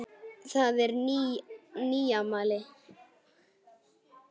Það er nýmæli.